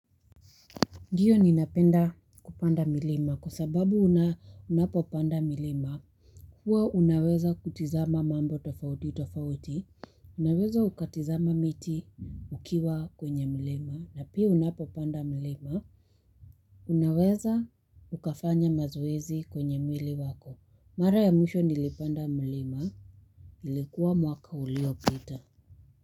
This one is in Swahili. Ndiyo ninapenda kupanda milima kwa sababu unapopanda milima. Huwa unaweza kutazama mambo tofauti tofauti. Unaweza ukatizama miti ukiwa kwenye milima. Na pia unapopanda milima. Unaweza ukafanya mazoezi kwenye mwili wako. Mara ya mwisho nilipanda mlima. Ilikuwa mwaka uliopita.